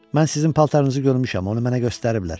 Mən sizin paltarınızı görmüşəm, onu mənə göstəriblər.